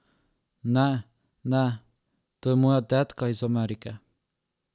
Ne, ne, to je moja tetka iz Amerike.